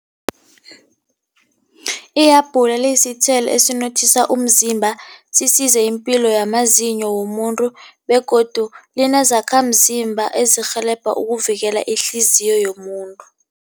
Ihabhula liyisithelo esinothisa umzimba sisize ipilo yamazinyo womuntu begodu linezakhamzimba ezikurhelebha ukuvikela ihliziyo yomuntu.